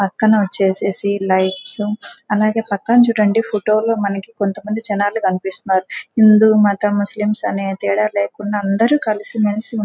పక్కన వచ్చేసేయ్ లైట్స్ అలాగే పక్కన చుడండి ఫోటో లో మనకి కొంత మంది జనాలు కనిపిస్తున్నారు. హిందూస్ మతం ముస్లిమ్స్ అనే తేడా లేకుండా అందరూ కలిసి మెలిసి ఉం--